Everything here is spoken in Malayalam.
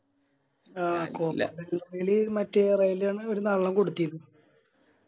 ആഹ് മറ്റേ ഒര് നല്ലണം കൊടുത്തിരുന്നു